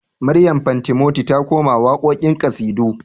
Maryam fantimoti ta koma waƙoƙin ƙasidu